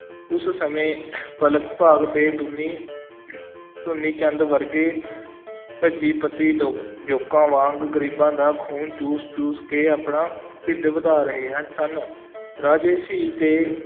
ਉਸ ਸਮੇਂ ਮਲਕ ਭਾਗ ਤੇ, ਦੁਨੀ ਦੁਨੀ ਚੰਦ ਵਰਗੇ ਪੰਜੀਪਤੀ ਲੋਕ ਜੋਕਾਂ ਵਾਂਗ ਗਰੀਬਾਂ ਦਾ ਖੂਨ ਚੂਸ ਚੂਸ ਕੇ ਆਪਣਾ ਢਿੱਡ ਵਧਾ ਰਹੇ ਹਨ, ਸਨ, ਰਾਜੇ ਸ਼ੀਂਹ ਤੇ